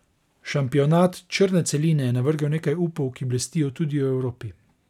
Šampionat črne celine je navrgel nekaj upov, ki blestijo tudi v Evropi.